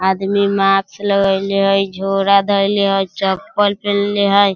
आदमी मास्क लागेएले हेय झोला धएले हेय चप्पल पिन्हले हेय।